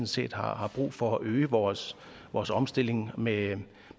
set har har brug for at øge vores vores omstilling med